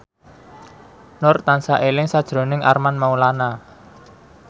Nur tansah eling sakjroning Armand Maulana